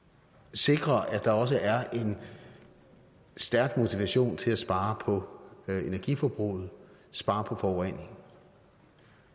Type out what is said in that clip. sikrer at der også er en stærk motivation til at spare på energiforbruget spare på forureningen